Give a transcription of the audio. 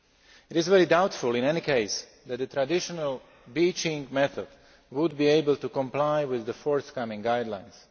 It is very doubtful in any case that the traditional beaching method would be able to comply with the forthcoming guidelines.